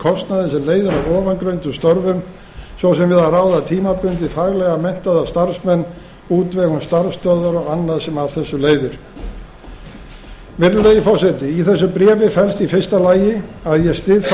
kostnaði sem leiðir af ofangreindum störfum svo sem við að ráða tímabundið faglega menntaða starfsmenn útvegun starfsstöðvar og annað sem af þessu leiðir virðulegi forseti í þessu bréfi felst í fyrsta lagi að ég styð þá